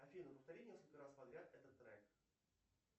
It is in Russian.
афина повтори несколько раз подряд этот трек